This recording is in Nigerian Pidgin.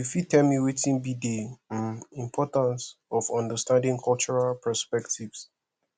you fit tell me wetin be di um importance of understanding cultural perspectives